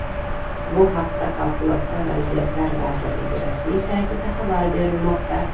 Bu haqda Favqulodda vaziyatlar vazirligi rasmiy saytida xabar berilmoqda .